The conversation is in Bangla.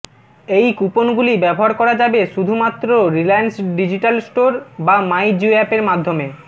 এই কুপনগুলি ব্যবহার করা যাবে শুধুমাত্র রিলায়েন্স ডিজিটাল স্টোর বা মাই জিও অ্যাপের মাধ্যমে